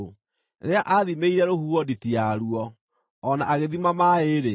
Rĩrĩa aathimĩire rũhuho nditi yaruo, o na agĩthima maaĩ-rĩ,